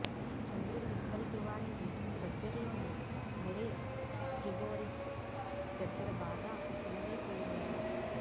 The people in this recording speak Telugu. చంద్రుడి ఉత్తర ధృవానికి దగ్గర్లోని మెరే ఫ్రిగోరిస్ దగ్గర బాగా చిన్నదైపోయిందట